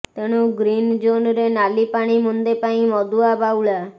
ତେଣୁ ଗ୍ରୀନ ଜୋନ୍ରେ ନାଲି ପାଣି ମୁନ୍ଦେ ପାଇଁ ମଦୁଆ ବାଉଳା